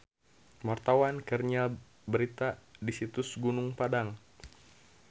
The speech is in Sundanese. Wartawan keur nyiar berita di Situs Gunung Padang